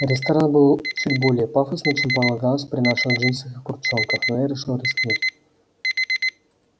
ресторан был чуть более пафосный чем полагалось при наших джинсах и куртчонках но я решил рискнуть